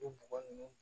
O bɔgɔ ninnu